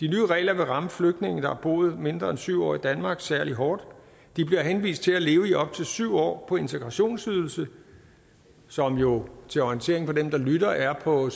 regler vil ramme flygtninge der har boet mindre end syv år i danmark særlig hårdt de bliver henvist til at leve i op til syv år på integrationsydelse som jo til orientering for dem der lytter er på